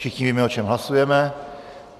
Všichni víme, o čem hlasujeme.